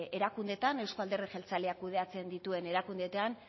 erakundeetan euzko alderdi jeltzaleak kudeatzen dituen erakundeetan